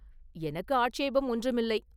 “எனக்கு ஆட்சேபம் ஒன்றுமில்லை.